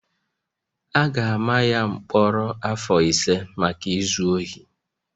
a ga-ama ya mkpọrọ afọ ise maka izu ohi